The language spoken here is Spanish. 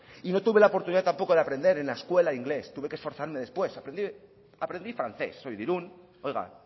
y no tuve la oportunidad tampoco de aprender en la escuela inglés tuve que esforzarme después aprendí francés soy de irun oiga